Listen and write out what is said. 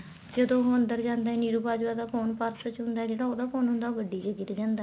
ਜਦੋਂ ਉਹ ਅੰਦਰ ਜਾਂਦਾ ਨੀਰੂ ਬਾਜਵਾ ਦਾ ਫੋਨ purse ਵਿੱਚ ਹੁੰਦਾ ਜਿਹੜਾ ਉਹਦਾ ਫੋਨ ਹੁੰਦਾ ਏ ਉਹ ਗੱਡੀ ਚ ਗਿਰ ਜਾਂਦਾ ਏ